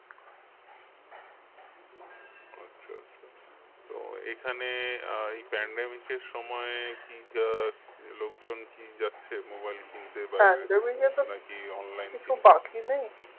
আচ্ছা আচ্ছা তো এখানে আহ এই pandemic এর সময় কি আহ লোকজন কি যাচ্ছে mobile কিনতে না কি online